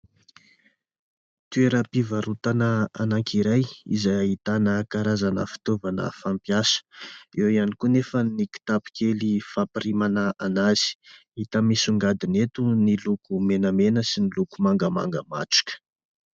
toeram-pivarotana anankiray izay ahitana karazana fitaovana fampiasa, eo ihany koa nefa ny kitapo kely fampirimana anazy, hita misongadina eto ny loko menamena sy ny loko mangamanga matroka.